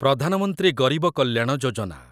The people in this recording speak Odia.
ପ୍ରଧାନ ମନ୍ତ୍ରୀ ଗରିବ କଲ୍ୟାଣ ଯୋଜନା